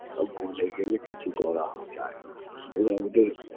তা ভুলে গেলে কিছু করা যায় না ওরা ওদের